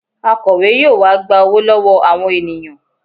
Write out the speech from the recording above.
Akọ̀we yóò wá gba owó lọ́wọ́ àwọn ènìyàn